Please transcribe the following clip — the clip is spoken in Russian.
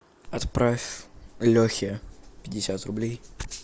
отправь лехе пятьдесят рублей